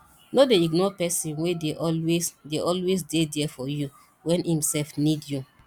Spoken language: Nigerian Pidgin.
no dey ignore person wey dey always dey always dey there for you when im sef need you